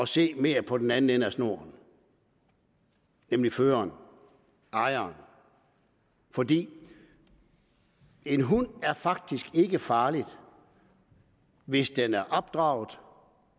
se mere på den anden ende af snoren nemlig føreren ejeren fordi en hund faktisk ikke er farlig hvis den er opdraget